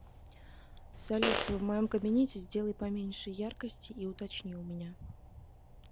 салют в моем кабинете сделай поменьше яркости и уточни у меня